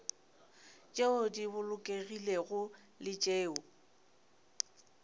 tšeo di bolokegilego le tšeo